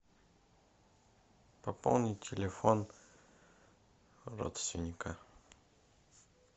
пополнить телефон родственника